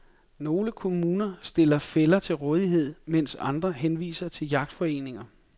Nogle kommuner stiller fælder til rådighed, mens andre henviser til jagtforeninger.